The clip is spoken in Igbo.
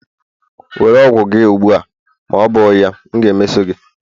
Were ọgwụ gị ugbu a, ma ọ bụ ya m na-emeso gị!